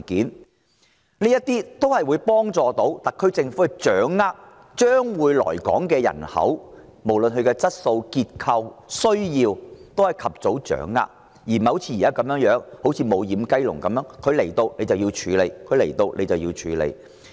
此舉有助特區政府及早掌握將會來港的人口，包括其質素、結構、需要等，而不像現時如"無掩雞籠"一般，直至新移民來港才去處理。